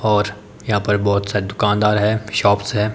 और यहां पर बहोत सारे दुकानदार हैं शॉप्स हैं।